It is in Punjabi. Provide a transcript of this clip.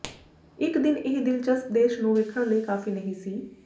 ਇਕ ਦਿਨ ਇਹ ਦਿਲਚਸਪ ਦੇਸ਼ ਨੂੰ ਵੇਖਣ ਲਈ ਕਾਫ਼ੀ ਨਹੀਂ ਸੀ